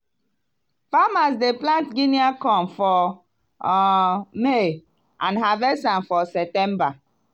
farmers dey plant guinea corn for um may and harvest am for september.